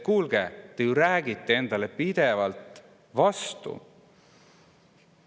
Kuulge, te ju räägite endale pidevalt vastu!